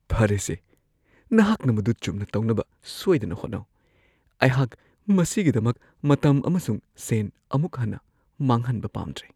ꯐꯔꯦꯁꯦ, ꯅꯍꯥꯛꯅ ꯃꯗꯨ ꯆꯨꯝꯅ ꯇꯧꯅꯕ ꯁꯣꯏꯗꯅ ꯍꯣꯠꯅꯧ ꯫ ꯑꯩꯍꯥꯛ ꯃꯁꯤꯒꯤꯗꯃꯛ ꯃꯇꯝ ꯑꯃꯁꯨꯡ ꯁꯦꯟ ꯑꯃꯨꯛ ꯍꯟꯅ ꯃꯥꯡꯍꯟꯕ ꯄꯥꯝꯗ꯭ꯔꯦ ꯫